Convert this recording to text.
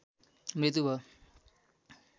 मृत्यु भयो